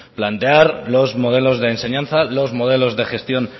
plantear los modelos de enseñanza los modelos de gestión